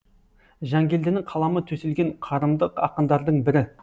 жангелдінің қаламы төселген қарымды ақындардың бірі